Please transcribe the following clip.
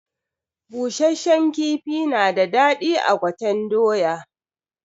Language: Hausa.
Busashen kifi na da daɗi a gwaten doya.